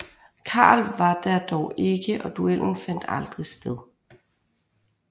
Karl var der dog ikke og duellen fandt aldrig sted